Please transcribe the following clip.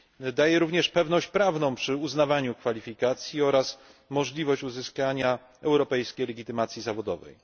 Daje ona również pewność prawną przy uznawaniu kwalifikacji oraz możliwość uzyskania europejskiej legitymacji zawodowej.